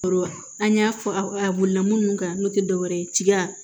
Awɔ an y'a fɔ a mɔnɛna munnu kan n'o te dɔwɛrɛ ye tiga